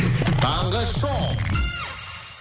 таңғы шоу